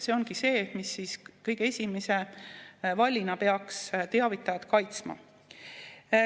See ongi see, mis kõige esimese vallina peaks teavitajat kaitsma.